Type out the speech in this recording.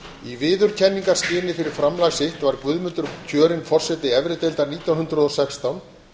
í viðurkenningarskyni fyrir framlag sitt var guðmundur kjörinn forseti efri deildar nítján hundruð og sextán